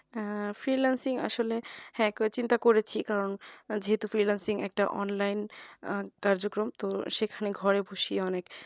আহ freelancing আসলে একবার চিন্তা করেছি কারণ যেহেতু freelancing একটা online আহ কার্যকম তো সেখানে ঘরে বসেই অনেক